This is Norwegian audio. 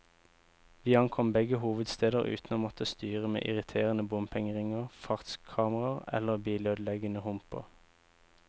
Vi ankom begge hovedsteder uten å måtte styre med irriterende bompengeringer, fartskameraer eller bilødeleggende humper.